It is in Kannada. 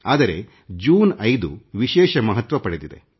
ಆದರೆ ಜೂನ್ 5 ವಿಶೇಷ ಮಹತ್ವ ಪಡೆದಿದೆ